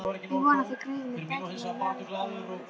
Ég vona þér greiðið mér bæturnar möglunarlaust.